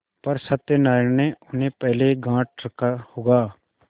पर सत्यनारायण ने उन्हें पहले गॉँठ रखा होगा